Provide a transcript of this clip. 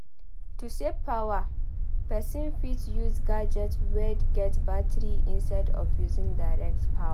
To save power person fit use gadget wey get battery instead of using direct power